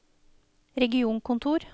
regionkontor